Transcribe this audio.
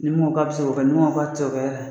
Ni mun ko k'a bɛ se k'o kɛ ni mun ko k'a tɛ se k'o kɛ